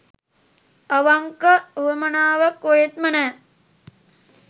අවංක උවමනාවක් කොහෙත්ම නෑ.